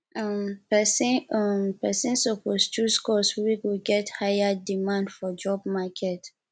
um persin um persin suppose choose course wey get high demand for job market